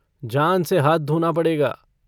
जान से हाथ धोना पड़ेगा।